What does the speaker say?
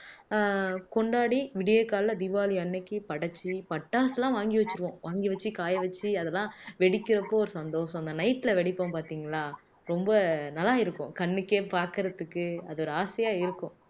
ஆஹ் கொண்டாடி விடியற்காலையில தீபாவளி அன்னைக்கு படைச்சு பட்டாசுலாம் வாங்கி வச்சிருவோம் வாங்கி வச்சு காய வச்சு அதெல்லாம் வெடிக்கிறப்போ ஒரு சந்தோஷம் அந்த night ல வெடிப்போம் பாத்தீங்களா ரொம்ப நல்லா இருக்கும் கண்ணுக்கே பாக்குறதுக்கு அது ஒரு ஆசையா இருக்கும்